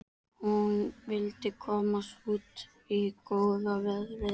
Hún vill komast út í góða veðrið.